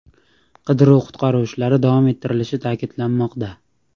Qidiruv-qutqaruv ishlari davom ettirilishi ta’kidlanmoqda.